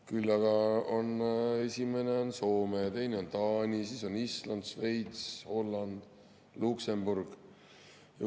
Küll aga on esimene Soome, teine on Taani, siis on Island, Šveits, Holland ja Luksemburg.